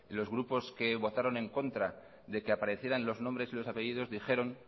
los grupos que votaron en contra de que aparecieran los nombres y los apellidos dijeron